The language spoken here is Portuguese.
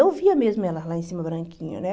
Eu via mesmo elas lá em cima, branquinho, né?